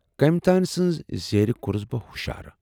کٔمۍ تانۍ سٕنزِ زیرِ کورُس بہٕ ہُشار۔